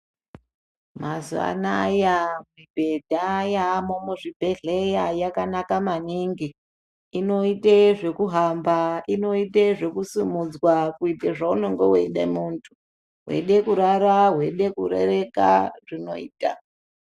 Mazuwanaya, mibhedha yamo muzvibhedhleya, yakanaka maningi. Inoyite zvokuhamba, inoyite zvokusumudzwa kuyite zvawunenge uyite muntu. Wede kurara, wede kurereka, zvinoyita.